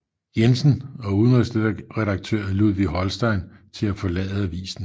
Jensen og udenrigsredaktør Ludvig Holstein til at forlade avisen